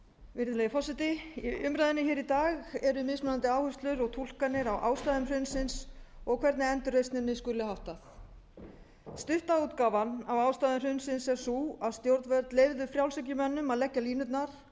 virðulegi forseti í umræðunni í dag eru mismunandi áherslur og túlkanir á ástæðum hrunsins og hvernig endurreisninni skuli háttað stutta útgáfan af ástæðum hrunsins er sú að stjórnvöld leyfðu frjálshyggjumönnum að leggja línurnar